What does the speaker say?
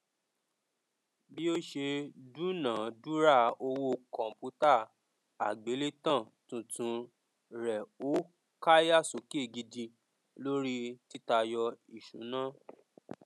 bí ó ṣe dúnàádúrà owó kọmpútà àgbélétan tuntun rẹ ó káyà sókè gidigidi lórí títayọ ìṣúná